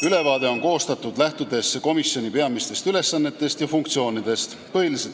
Ülevaade on koostatud komisjoni peamistest ülesannetest ja funktsioonidest lähtudes.